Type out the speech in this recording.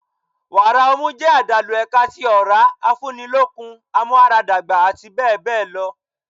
Wàrà ọmú jẹ́ àdàlù ẹ̀ka tí ọ̀rá, afúni lókun, amúara dàgbà àti bẹ́ẹ̀ bẹ́ẹ̀ lọ.